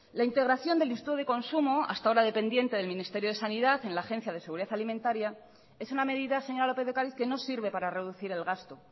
la integración del instituto de consumo hasta ahora dependiente del ministerio de sanidad en la agencia de seguridad alimentaria es una medida señora lópez de ocariz que no sirve para reducir el gasto